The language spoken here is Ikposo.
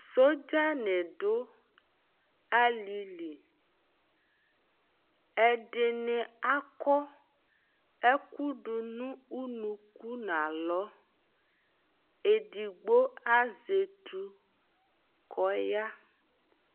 Sɔdzanɩ dʋ alɩ li , ɛdɩnɩ akɔ ɛkʋ dʋ nʋ unuku n'alɔ Edigbo azɛ etu k'ɔya